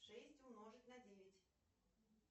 шесть умножить на девять